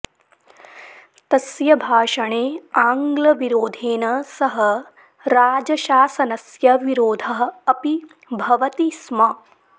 तस्य भाषणे आङ्ग्लविरोधेन सह राजशासनस्य विरोधः अपि भवति स्म